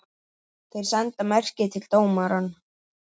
Þeir senda merki til dómara.